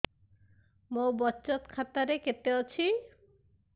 ମୋ ବଚତ ଖାତା ରେ କେତେ ଅଛି